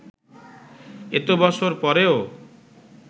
এত বছর পরেও